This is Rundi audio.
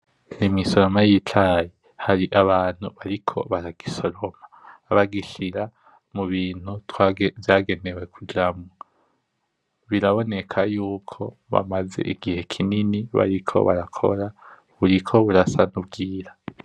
Imisoroma yicayi, harabantu bariko baragisoroma bagishira mubintu vyagenewe kujamwo biraboneka yuko bamaze igihe kinini bariko barakora buriko burasa nkubwira